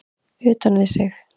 Utan við sig?